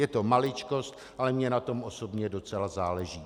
Je to maličkost, ale mně na tom osobně docela záleží.